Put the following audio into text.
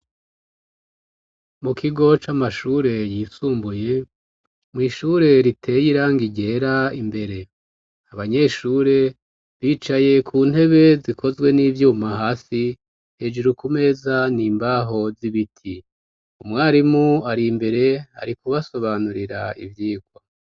Mu kigo c'amashure yisumbuye mwishure riteye irangi ryera imbere abanyeshure bicaye ku ntebe zikozwe n'ibyuma hasi hejuru ku meza n'imbaho z'ibiti, umwarimu ari mbere ari kubasobanurira ivyigwa.